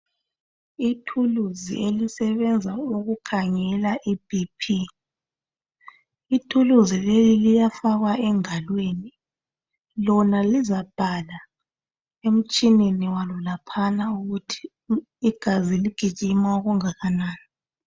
Ithuluzi elisebenza ukukhangela iBP, ithulizi leli liyafakwa engalweni. Lona lizabhala emtshineni walo laphana ukuthi igazi ligijima okungakanani.